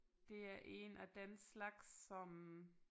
Det er en af den slags som